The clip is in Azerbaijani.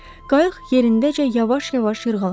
Qayıq yerindəcə yavaş-yavaş yırğalandı.